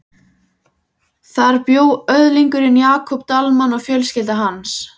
Þar bjó öðlingurinn Jakob Dalmann og fjölskylda hans.